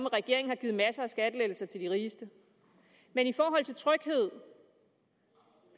regeringen har givet masser af skattelettelser til de rigeste men i forhold til tryghed